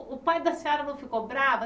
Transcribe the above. O o pai da senhora não ficou bravo?